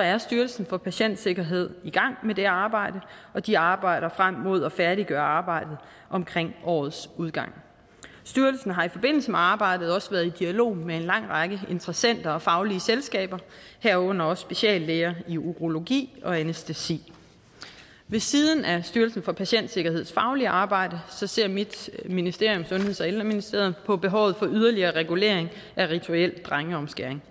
er styrelsen for patientsikkerhed i gang med det arbejde og de arbejder frem mod at færdiggøre arbejdet omkring årets udgang styrelsen har i forbindelse med arbejdet også været i dialog med en lang række interessenter og faglige selskaber herunder også speciallæger i urologi og anæstesi ved siden af styrelsen for patientsikkerheds faglige arbejde ser mit ministerium sundheds og ældreministeriet på behovet for yderligere regulering af rituel drengeomskæring